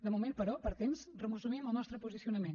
de moment però per temps resumim el nostre posicionament